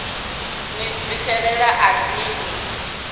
ni zwifhelela a ri no